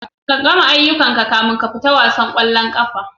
Ka gama aiyukan ka kafina ka fita wasan kwallon kafa.